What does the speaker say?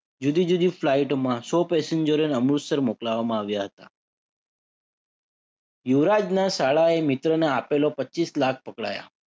જુદી જુદી flight માં સો પેસેન્જરોને અમૃતસર મોકલાવામાં આવ્યા હતા. યુવરાજના શાળાએ મિત્રોને આપેલા પચીસ લાખ પકડાયા.